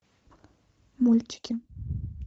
мультики